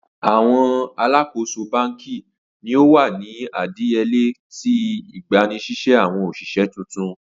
Awọn aláàkóso banki ni o wa ni idiyele ti igbanisise awọn oṣiṣẹ tuntun.